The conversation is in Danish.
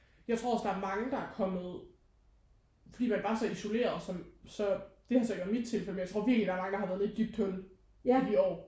Jeg tror også der er mange der er kommet fordi man var så isoleret som så det har så ikke været mit tilfælde men jeg tror virkelig der er mange der har været i et dybt hul i de år